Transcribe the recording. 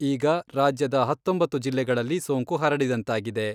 ಈಗ ರಾಜ್ಯದ ಹತ್ತೊಂಬತ್ತು ಜಿಲ್ಲೆಗಳಲ್ಲಿ ಸೋಂಕು ಹರಡಿದಂತಾಗಿದೆ.